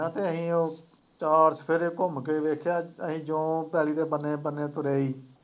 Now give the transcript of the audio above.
ਨਾ ਤਾਂ ਅਸੀਂ ਉਹ ਚਾਰ ਚੁਫੇਰੇ ਘੁੰਮ ਕੇ ਵੇਖਿਆ ਅਸੀਂ ਜੋ ਪੈਲੀ ਦੇ ਬੰਨੇ ਬੰਨੇ ਤੁਰੇ ਸੀ